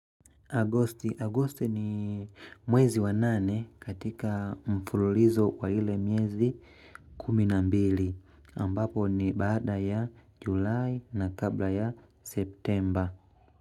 Agosti ni mwezi wa nane katika mfululizo kwa ile miezi kumi na mbili ambapo ni baada ya julai na kabla ya septemba.